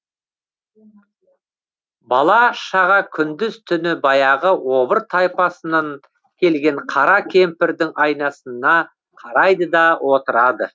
бала шаға күндіз түні баяғы обыр тайпасынан келген қара кемпірдің айнасына қарайды да отырады